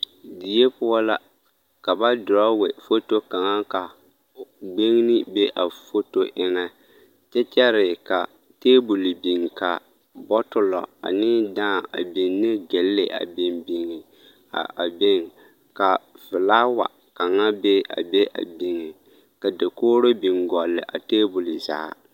Die poɔ la ka ba dorɔɔwe foto kaŋa ka gbeŋne be a foto eŋɛ kyɛ kyɛre ka table biŋ ka bɔtullɔ ane daa a biŋ ne gille a biŋ biŋ a a beŋ ka filaawa kaŋa be a be a biŋ ka dakogro biŋ gɔlle a table zaa.